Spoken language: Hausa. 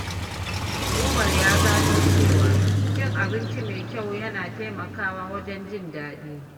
Umar ya gano cewa cin abinci mai kyau yana taimakawa wajen jin daɗi.